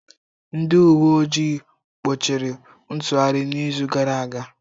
Ndị uwe ojii gbochiri ntụgharị n'izu gara aga.